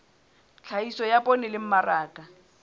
tlhahiso ya poone le mmaraka